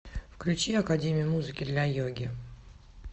включи академию музыки для йоги